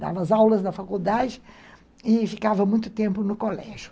Dava as aulas na faculdade e ficava muito tempo no colégio.